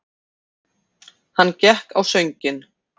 Hann gekk á sönginn.